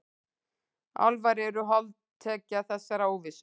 Álfar eru holdtekja þessarar óvissu.